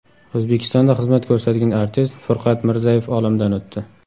O‘zbekistonda xizmat ko‘rsatgan artist Furqat Mirzayev olamdan o‘tdi.